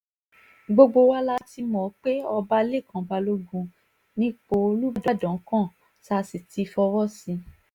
gbogbo wa la ti mọ̀ pé ọba lẹ́kàn balógun nípò olùbàdàn kan tá a sì ti fọwọ́ sí i